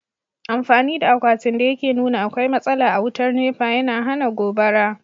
Amfani da akwatin da yake nuna akwai matsala a wutar nepa, yana hana gobara.